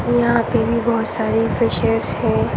यहाँ पे भी बहुत सारी फ़िशेस है।